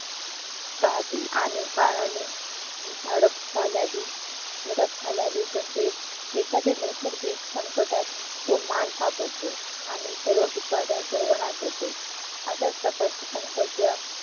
राहते आणि काळाने झडप घालावी झडप घालावी तसेच एखाद्या नैर्सगिक संकटात तो माल सापडतो आणि सर्व पिकाचा सर्वनाश होतो अशाचप्रकारच्या संकटाला